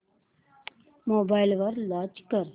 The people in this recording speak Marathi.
मोबाईल वर लॉंच कर